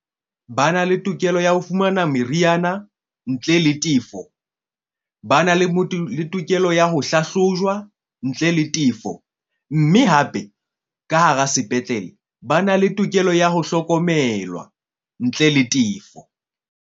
Ba na le tokelo ya ho fumana meriana ntle le tefo, ba na le le tokelo ya ho hlahlojwa ntle le tefo. Mme hape ka hara sepetlele ba na le tokelo ya ho hlokomelwa ntle le tefo.